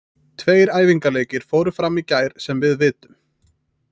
Tveir æfingaleikir fóru fram í gær sem við vitum.